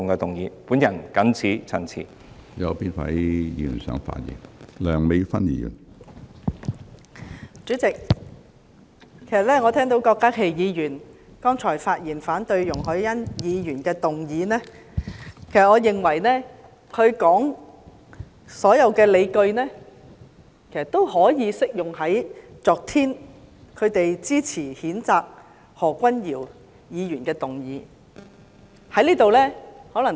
主席，我剛才聆聽郭家麒議員發言反對容海恩議員動議的議案，我認為他提出的所有理據，也適用於反對他們昨天支持譴責何君堯議員的議案。